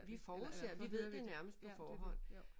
Vi forudser vi ved det nærmest på forhånd